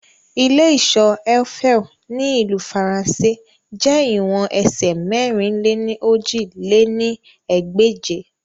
Ile-iṣọ Eiffel ni Ilu Faranse jẹ iwọn ẹsẹ mẹ̀rin-lé-ní-ojì lé ní ẹgbẹ́je